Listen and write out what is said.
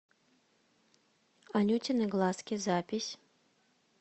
анютины глазки запись